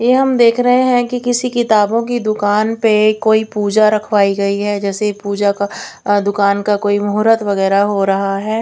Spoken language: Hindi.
एवं देख रहे हैं कि किसी किताबों की दुकान पे कोई पूजा रखवाई गई है जैसे पूजा का दुकान का कोई मुहूर्त वगैरा हो रहा है।